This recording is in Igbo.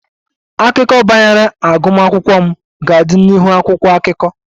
Akụkọ banyere agbamakwụkwọ m ga-adị n'ihu akwụkwọ akụkọ